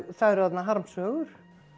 það eru þarna harmsögur